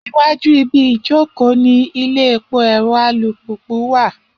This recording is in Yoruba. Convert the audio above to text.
Iwájú ibi ìjókòó ni ilé epo ẹ̀rọ alùpùpù wà